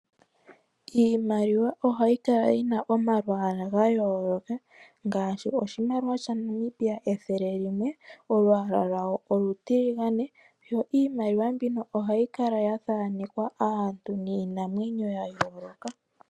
Iimaliwa ohayi kala yina omalwaala gayoloka gaashi ethele limwe lyaNamibia olyina olwaala olutiligane niimaliwa mbika oha yi kala yathaanekwa aantu niinamwenyo yayolokathana.